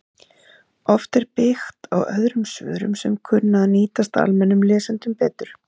Oft er byggt á öðrum svörum sem kunna að nýtast almennum lesendum betur